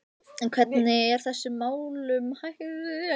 En hvernig er þessum málum háttað hér á landi?